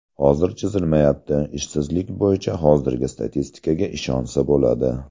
Hozir chizilmayapti, ishsizlik bo‘yicha hozirgi statistikaga ishonsa bo‘ladi.